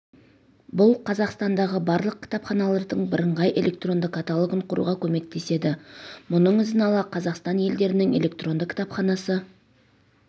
бұл қазақстандағы барлық кітапханалардың бірыңғай электронды каталогын құруға көмектеседі мұның ізін ала қазақстан елдерінің электронды кітапханасы